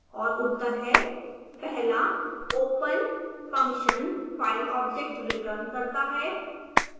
और उत्तर हैं